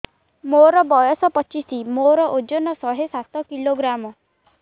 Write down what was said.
ମୋର ବୟସ ପଚିଶି ମୋର ଓଜନ ଶହେ ସାତ କିଲୋଗ୍ରାମ